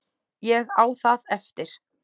Ég á það eftir.